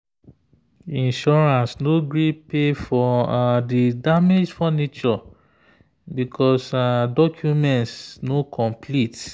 insurance no gree pay for the damaged furniture because documents no complete.